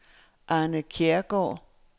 Arne Kjærgaard